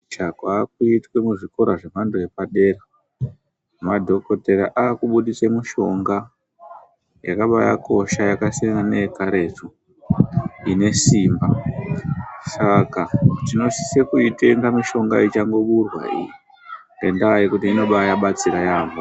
Chaakuitwa muzvikoro zvemhando yepadera. Madhokoteya aakubudise mushonga yakabaakosha, yakasiyana neyekaretu, ine simba. Saka tinosise kuitenga mishonga ichangoburwa iyi ngendaa yekuti inobaabatsira yaamho.